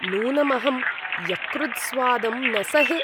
नूनं अहं यकृत्स्वादं न सहे।